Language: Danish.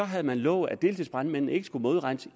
havde lovet at deltidsbrandmændene ikke skulle modregnes